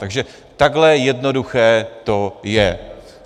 Takže takhle jednoduché to je.